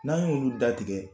N'an y'olu datigɛ